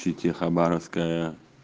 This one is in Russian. те хабаровская